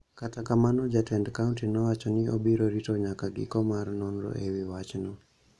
Kata kamano, jatend kaonti nowacho ni obiro rito nyaka giko mar nonro ewi wachno